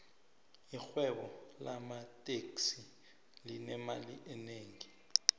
irhwebo lamateksi linemali enengi